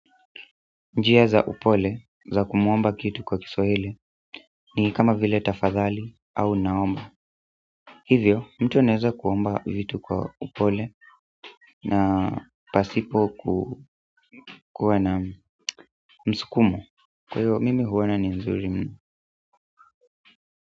Njia za upole za kumuomba kitu kwa Kiswahili ni kama vile tafadhali au naomba hivyo mtu anaweza kuomba vitu kwa upole na pasipo kuwa na msukumo. Kwaivo mimi huona ni nzuri mno.